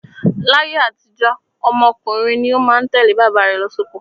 Láyé àtijó, ọmọ ọkùnrin ni ó má ń tẹ̀lé bàbá rẹ̀ lọ sóko.